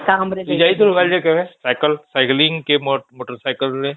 Two ଯାଇଛୁ ଗାଡ଼ି ରେ କେବେ ସାଇକେଲ କି ମୋଟର ସାଇକେଲ ରେ?